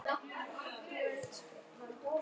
Ég bjóst ekki við þessu.